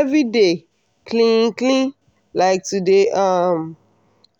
everyday clean clean like to dey um